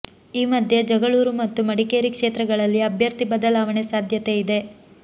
ಈ ಮಧ್ಯೆ ಜಗಳೂರು ಮತ್ತು ಮಡಿಕೇರಿ ಕ್ಷೇತ್ರಗಳಲ್ಲಿ ಅಭ್ಯರ್ಥಿ ಬದಲಾವಣೆ ಸಾಧ್ಯತೆಯಿದೆ